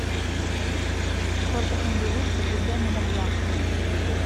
фото мбу цгб номер два